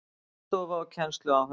Vinnustofa og kennsluáhöld